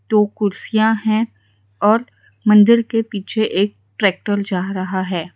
दो कुर्सियां है और मंदिर के पीछे एक ट्रैक्टर जा रहा है।